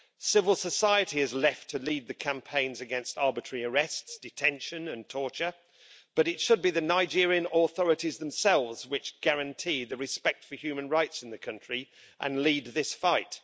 Civil society is left to lead the campaigns against arbitrary arrests, detention and torture, but it should be the Nigerian authorities themselves which guarantee the respect for human rights in the country and lead this fight.